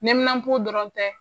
Neminan po dɔrɔn tɛ .